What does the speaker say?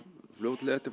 fljótlega eftir